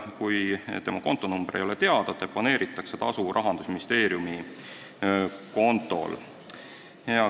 Kui tema kontonumber ei ole teada, deponeeritakse tasu Rahandusministeeriumi kontol.